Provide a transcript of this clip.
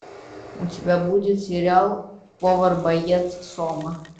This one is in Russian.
у тебя будет сериал повар боец сома